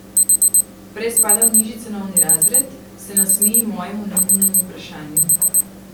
Prej spada v nižji cenovni razred, se nasmeji mojemu neumnemu vprašanju.